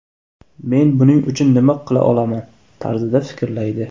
Men buning uchun nima qila olaman?” tarzida fikrlaydi.